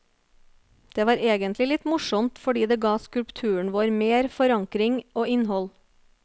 Det var egentlig litt morsomt fordi det ga skulpturen vår mer forankring og innhold.